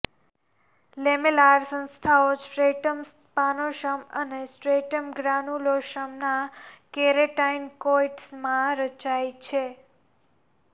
lamellar સંસ્થાઓ stratum spinosum અને stratum ગ્રાનુલોસમના કેરાટિનકોઇટ્સમાં રચાય છે